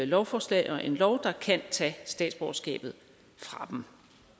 lovforslag og en lov der kan tage statsborgerskabet fra dem